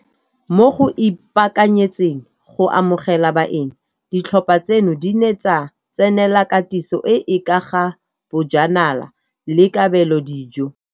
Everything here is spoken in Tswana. Mo go ipaakanyetseng go amogela baeng, ditlhopha tseno di ne tsa tsenela katiso e e ka ga bojanala le kabelodijo.